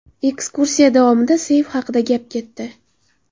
Ekskursiya davomida seyf haqida gap ketdi.